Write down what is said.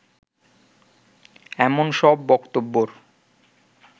এমন সব বক্তব্যের